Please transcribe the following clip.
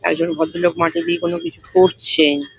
একজন ভদ্রলোক মাটি দিয়ে কোনো কিছু করছেন।